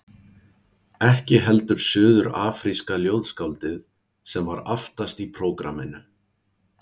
Ekki heldur suður-afríska ljóðskáldið sem var aftast í prógramminu.